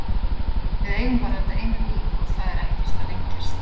Við eigum bara þetta eina líf og það er ekkert að lengjast.